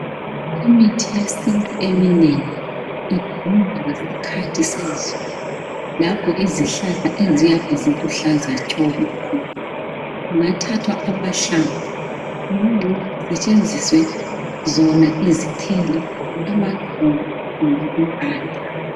Imithi yesintu emeningi idinga isikhathi sezulu lapho izihlahla eziyabe ziluhlaza tshoko, kungathathwa amahlamvu kumbe kusetshenziswe zona izithelo, amaxolo kumbe impande.